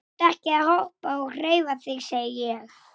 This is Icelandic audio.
Finnst þér þetta í lagi?